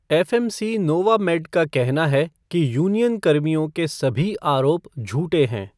FMC Novamed का कहना है कि यूनियन कर्मियों के सभी आरोप झूठे हैं।